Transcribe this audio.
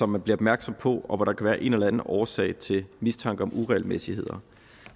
man bliver opmærksom på og hvor der kan være en eller anden årsag til mistanke om uregelmæssigheder